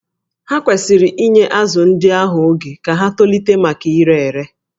Ha kwesịrị inye azụ̀ ndị ahụ oge ka ha tolite maka ire ere